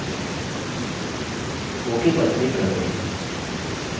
ok पर click करते हैं